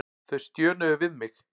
Þau stjönuðu við mig.